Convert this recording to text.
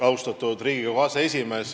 Austatud Riigikogu aseesimees!